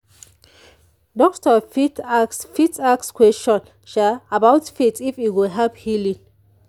doctor fit ask fit ask question about faith if e go help healing.